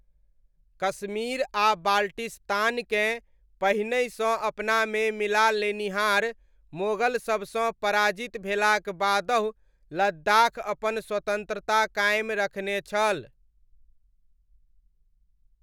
कश्मीर आ बाल्टिस्तानकेँ पहिनहिसँ अपनामे मिला लेनिहार मोगलसबसँ पराजित भेलाक बादहु लद्दाख अपन स्वतन्त्रता कायम रखने छल।